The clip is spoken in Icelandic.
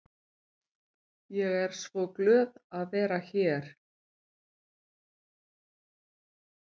Ég er svo glöð að vera hér.